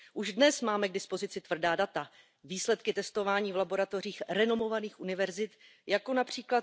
Už dnes máme k dispozici tvrdá data, výsledky testování v laboratořích renomovaných univerzit, jako např.